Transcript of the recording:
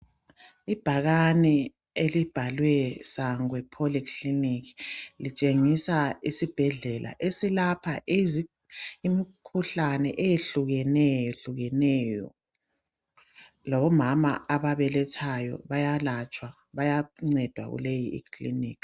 Ibhakane elibhalwe Sangwe Polyclinic litshengisa isibhedlela esilapha izi- imikhuhlane eyehlukeneyo-hlukeneyo. Labo mama ababelethayo bayalatshwa, bayancedwa kuleyi ikliniki.